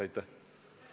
Aitäh!